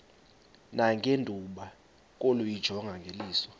nangethuba lokuyijonga ngeliso